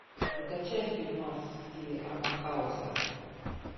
закачай фильмас в стиле артхауса